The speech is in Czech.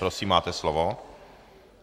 Prosím, máte slovo.